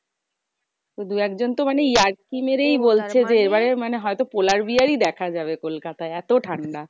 দু এক জন তো ইয়ার্কি মেরেই বলছে যে, এবারে মানে হয়তো polar bear ই দেখা যাবে কলকাতায়, এত ঠান্ডা?